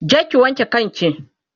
je ki wanke kan ki!